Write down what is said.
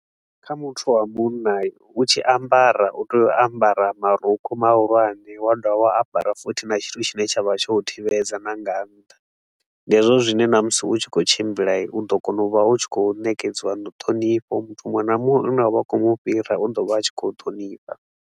Kha muthu wa munna u tshi ambara u tea u ambara marukhu mahulwane, wa dovha wa ambara futhi na tshithu tshine tsha vha tsho u thivhedza na nga ntha. Ndi hezwo zwine na musi u tshi khou tshimbila, u ḓo kona u vha u tshi khou nekedziwa ṱhonifho, muthu muṅwe na muṅwe u ne wa vha u khou mu fhira u ḓo vha a tshi khou ṱhonifha.